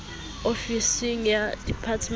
ofisng ya diphemiti e be